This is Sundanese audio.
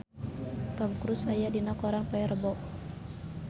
Tom Cruise aya dina koran poe Rebo